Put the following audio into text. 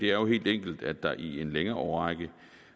jo helt enkelt at der i en længere årrække